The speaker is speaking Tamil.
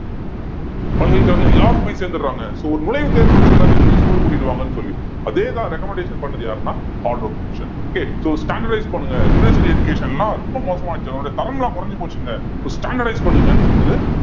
பல்கலைக்கழகங்கள் எல்லாரும் போய் சேர்ந்துடுறாங்க so ஒரு நுழைவுத் தேர்வு வச்சு எல்லாரையும் நீங்க school கூட்டிட்டு வாங்கன்னு சொல்லி அதே தான் recommendation பண்ணது யாருன்னா commission okay so standardize பண்ணுங்க university education லாம் ரொம்ப மோசமாச்சு அதனுடைய தரம்லாம் குறைஞ்சு போச்சுங்க so standardize பண்ணுங்கன்னு சொன்னது